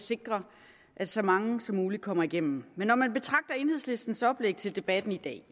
sikre at så mange som muligt kommer igennem men når man betragter enhedslistens oplæg til debatten i dag